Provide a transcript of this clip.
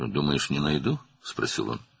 "Düşünürsən ki, tapmayacağam?" - deyə soruşdu.